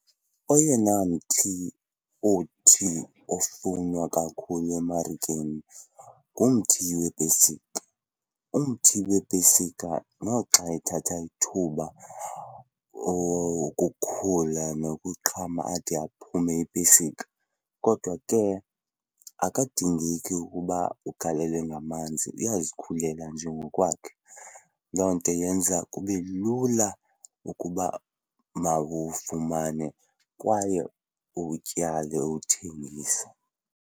Oyena mthi othi ofunwe kakhulu emarikeni ngumthi weepesika. Umthi weepesika noxa ethatha ithuba ukukhula nokuxhomatya uphume iipesika kodwa ke akadingeki ukuba uwugalele ngamanzi, uyazikhulela nje ngokwakhe. Loo nto yenza kube lula ukuba mawufumane kwaye uwutyale uwuthengise.